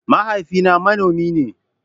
Mahaifina manomi ne.